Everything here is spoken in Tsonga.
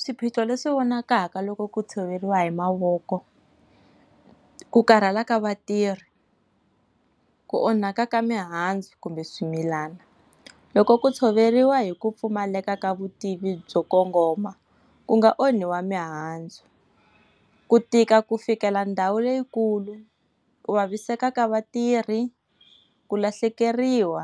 Swiphiqo leswi vonakaka loko ku tshoveriwa hi mavoko. Ku karhala ka vatirhi, ku onhaka ka mihandzu kumbe swimilana. Loko ku tshoveriwa hi ku pfumaleka ka vutivi byo kongoma, ku nga onhiwa mihandzu. Ku tika ku fikela ndhawu leyikulu, ku vavisekaka vatirhi, ku lahlekeriwa